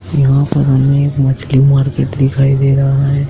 यहां पर हमें मछली मार्केट दिखाई दे रहा है।